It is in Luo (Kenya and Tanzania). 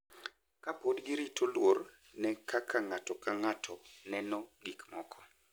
Ka pod girito luor ne kaka ng’ato ka ng’ato neno gik moko.